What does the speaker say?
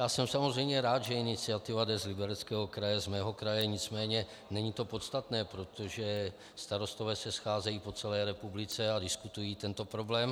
Já jsem samozřejmě rád, že iniciativa jde z Libereckého kraje, z mého kraje, nicméně není to podstatné, protože starostové se scházejí po celé republice a diskutují tento problém.